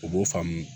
U b'o faamu